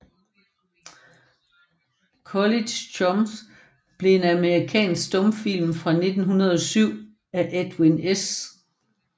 College Chums er en amerikansk stumfilm fra 1907 af Edwin S